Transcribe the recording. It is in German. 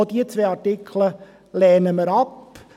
Auch diese zwei Artikel lehnen wir ab.